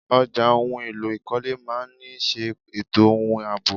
Ọjà ohun èlò ìkọ́lé máa ni ṣe ètò ohun àbọ̀.